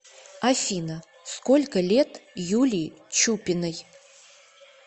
афина сколько лет юлии чупиной